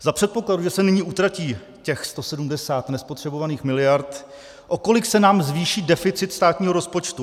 Za předpokladu, že se nyní utratí těch 170 nespotřebovaných miliard, o kolik se nám zvýší deficit státního rozpočtu?